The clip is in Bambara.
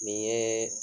Nin yee